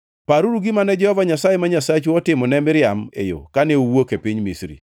Paruru gima ne Jehova Nyasaye ma Nyasachu otimo ne Miriam e yo kane uwuok e piny Misri.